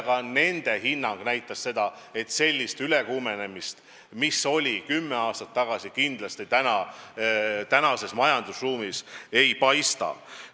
Ka nende hinnangul sellist ülekuumenemist, mis oli kümme aastat tagasi, praeguses majandusruumis kindlasti ei paista.